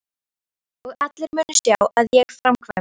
Og allir munu sjá að ég framkvæmi!